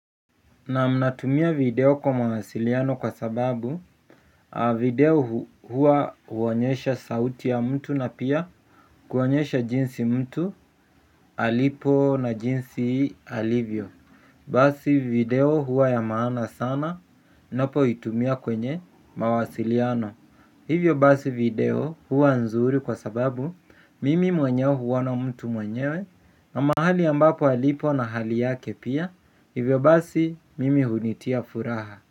Naam natumia video kwa mawasiliano kwa sababu video huwa huonyesha sauti ya mtu na pia kuonyesha jinsi mtu alipo na jinsi alivyo. Basi video huwa ya maana sana napoitumia kwenye mawasiliano. Hivyo basi video huwa nzuri kwa sababu mimi mwenyewe huona mtu mwenyewe. Na mahali ambapo alipo na hali yake pia, hivyo basi mimi hunitia furaha.